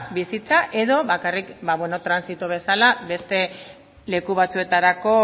bizitza edo bakarrik transito bezala beste leku batzuetarako